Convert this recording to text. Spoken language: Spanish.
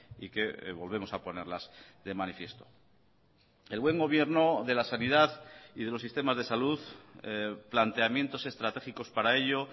y que volvemos a ponerlas de manifiesto el buen gobierno de la sanidad y de los sistemas de salud planteamientos estratégicos para ello